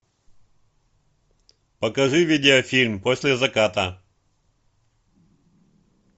покажи видеофильм после заката